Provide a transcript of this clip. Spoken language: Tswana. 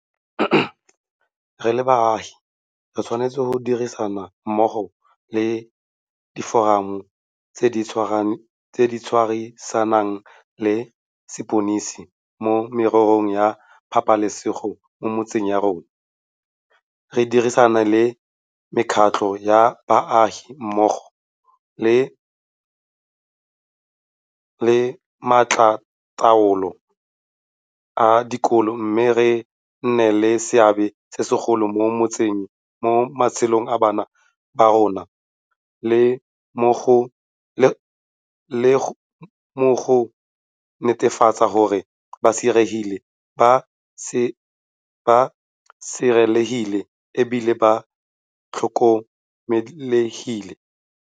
Re le baagi re tshwanetse go dirisana mmogo le Diforamo tse di Dirisanang le Sepodisi mo Mererong ya Pabalesego mo Metseng ya rona, re dirisane le mekgatlho ya baagi mmogo le makgotlataolo a dikolo mme re nne le seabe se segolo mo matshelong a bana ba rona le mo go netefatseng gore ba sireletsegile e bile ba tlhokomelegile.